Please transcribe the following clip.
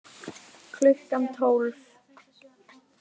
Klukkan tólf